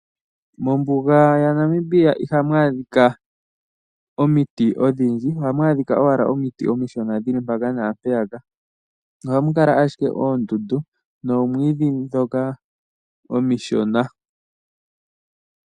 Mombuga yaNamibia ihamu adhikwa omiti ondhindji, ohamu adhikwa omiti omishona dhili mpaka naampeyaka. Ohamukala ashike oondundu noomwiidhi dhoka omishona.